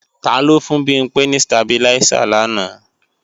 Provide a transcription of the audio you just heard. Taló fún Bimpé ní stabiláísà làná?